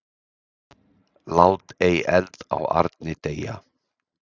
Lát ei eld á arni deyja.